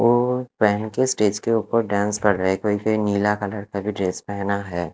वो पहन के स्टेज के ऊपर डेंस कर रहे हैं कोई-कोई नीले कलर का भी ड्रेस पहना है।